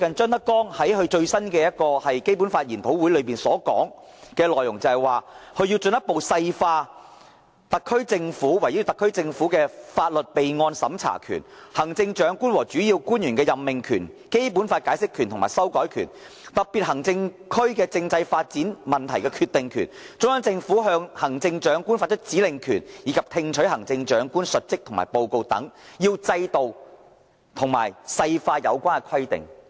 張德江最近甚至在一個《基本法》研討會上指出，對於"圍繞對特別行政區法律備案審查權、行政長官和主要官員任命權、《基本法》解釋權和修改權、特別行政區政制發展問題決定權、中央政府向行政長官發出指令權，以及聽取行政長官述職和報告權等，要制定和細化有關規定"。